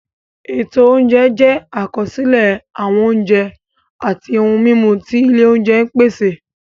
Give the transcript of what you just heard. Ètò oúnjẹ jẹ́ àkọsílẹ̀ àwọn oúnjẹ àti ohun-mímu tí ilé oúnjẹ ń pèsè.